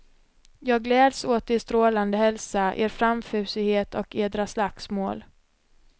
Jag gläds åt er strålande hälsa, er framfusighet och edra slagsmål.